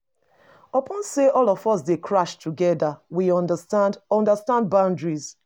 Upon sey all of us dey crash together, we understand understand boundaries.